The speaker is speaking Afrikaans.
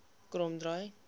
kromdraai